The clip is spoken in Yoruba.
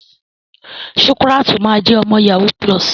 Shukurat ma jẹ ọmọ yahoo plus.